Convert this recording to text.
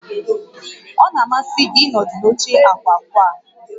Ọ na-amasị gị ịnọdụ n'oche ákwà ákwà?